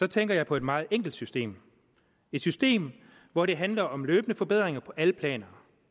tænker jeg på et meget enkelt system et system hvor det handler om løbende forbedringer på alle planer